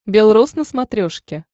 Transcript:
бел роз на смотрешке